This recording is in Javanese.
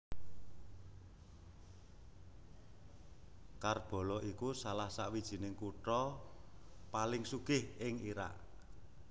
Karbala iku salah sawijining kutha paling sugih ing Irak